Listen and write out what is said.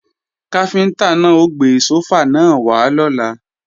Káfíntá náà ó gbé sófà náà wá lọ́la